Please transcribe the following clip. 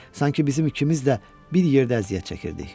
Sanki bizim ikimiz də bir yerdə əziyyət çəkirdik.